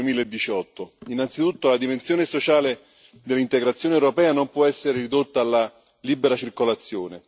2018. Innanzitutto la dimensione sociale dell'integrazione europea non può essere ridotta alla libera circolazione.